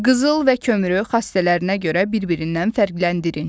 Qızıl və kömürü xassələrinə görə bir-birindən fərqləndirin.